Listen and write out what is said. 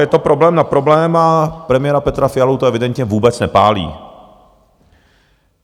Je to problém na problém a premiéra Petra Fialu to evidentně vůbec nepálí.